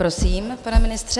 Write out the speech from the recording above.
Prosím, pane ministře.